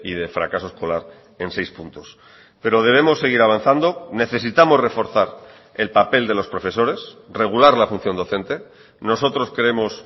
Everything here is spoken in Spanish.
de fracaso escolar en seis puntos pero debemos seguir avanzando necesitamos reforzar el papel de los profesores regular la función docente nosotros creemos